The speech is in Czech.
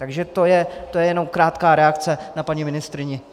Takže to je jenom krátká reakce na paní ministryni.